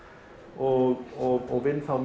og vinn þá